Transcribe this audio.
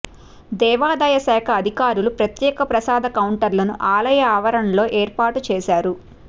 దేవాదాయ శాఖ అధికారులు ప్రత్యేక ప్రసాద కౌంటర్లను ఆలయ ఆవరణలో ఏర్పాటుచేశారు